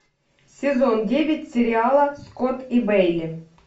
сезон девять сериала скотт и бейли